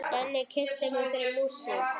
Denni kynnti mig fyrir músík.